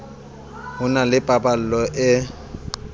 ho na le pallo e